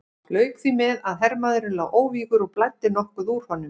Lauk því með að hermaðurinn lá óvígur og blæddi nokkuð úr honum.